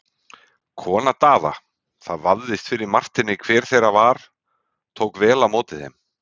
Kona Daða, það vafðist fyrir Marteini hver þeirra það var, tók vel á móti þeim.